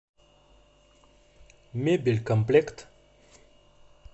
мебелькомплект